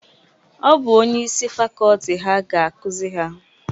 Ọ bụ onye isi fakọọti ha ga-akuzi ha.